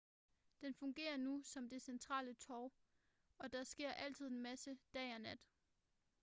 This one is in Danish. den fungerer nu som det centrale torv og der sker altid en masse dag og nat